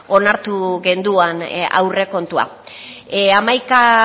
onartu genuen aurrekontua hamaika